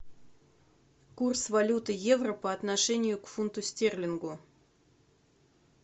курс валюты евро по отношению к фунту стерлингу